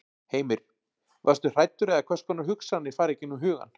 Heimir: Varstu hræddur eða hvers konar hugsanir fara í gegnum hugann?